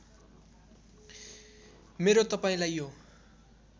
मेरो तपाईँलाई यो